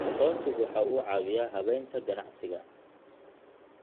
Aqoonsigu waxa uu caawiyaa habaynta ganacsiga.